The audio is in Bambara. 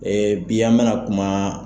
bi an me na kuma